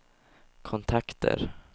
kontakter